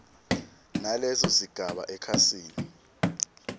naleso sigaba ekhasini